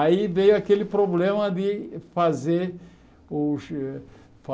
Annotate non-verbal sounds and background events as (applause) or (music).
Aí veio aquele problema de fazer (unintelligible)